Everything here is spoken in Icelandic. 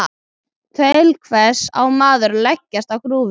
Til hvers á maður að leggjast á grúfu?